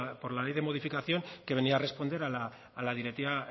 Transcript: por la ley de modificación que venía a responder a la directiva